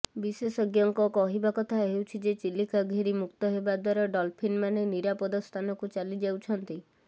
ବିଶେଷଜ୍ଞଙ୍କ କହିବା କଥା ହେଉଛି ଯେ ଚିଲିକା ଘେରିମୁକ୍ତ ହେବା ଦ୍ବାରା ଡଲ୍ଫିନ୍ମାନେ ନିରାପଦ ସ୍ଥାନକୁ ଚାଲି ଯାଉଛନ୍ତି